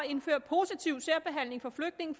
indføre positiv særbehandling for flygtninge